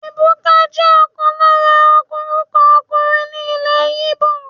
Ebuka jẹ́ ọ̀kan lára orúkọ ọkùnrin ní ilè Igbo.